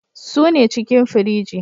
Suna cikin firiji.